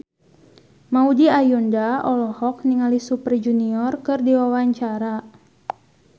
Maudy Ayunda olohok ningali Super Junior keur diwawancara